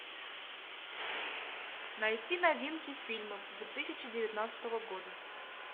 найти новинки фильмов две тысячи девятнадцатого года